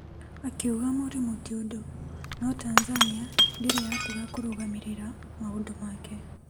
Akiuga mũrimũ ti ũndũ no Tanzania ndĩrĩ yatiga kũrũgamĩrĩra maũndũ make.